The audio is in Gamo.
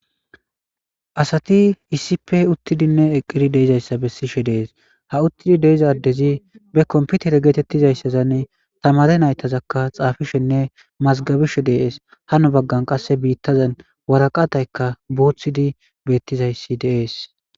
Asati iisipe uttidinne eqqidi deizayssa bessishe dees ha uttidi deizaddezi be komputere geetettizayssazanne tamare naytazakka xaafishenne mazgabishe deees hano baggan qasse biittazan waraqataykka buuthidi beettizayssi deees.